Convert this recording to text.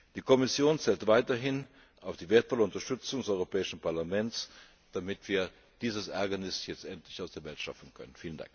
Die Kommission zählt weiterhin auf die wertvolle Unterstützung des Europäischen Parlaments, damit wir dieses Ärgernis jetzt endlich aus der Welt schaffen können.